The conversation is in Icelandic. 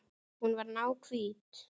Hún var náhvít.